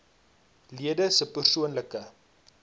lede se persoonlike